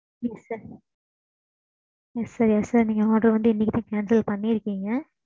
கொஞ்சம் budget problem னால